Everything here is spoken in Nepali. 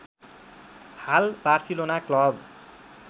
हाल बार्सिलोना क्लब